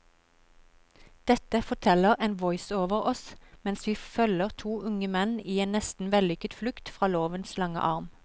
Dette forteller en voiceover oss mens vi følger to unge menn i en nesten vellykket flukt fra lovens lange arm.